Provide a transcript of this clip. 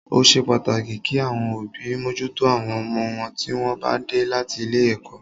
Ó ṣe pàtàkì kí àwọn òbí mójútó àwọn ọmọ wọn tí wọ́n bá dé láti ilé ẹ̀kọ́.